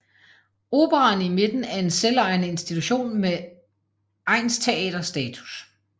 Operaen i Midten er en selvejende institution med egnsteater status